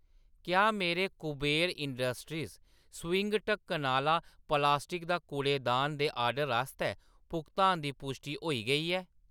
क्या मेरे Kuber industries swing ढक्कन आह्‌ला प्लास्टिक दा कूड़ेदान दे ऑर्डर आस्तै भुगतान दी पुश्टि होई गेई ऐ ?